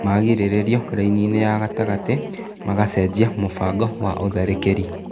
magĩrĩrĩrio raini-inĩ ya gatagatĩ, magacenjia mũbango wa ũtharĩkĩri.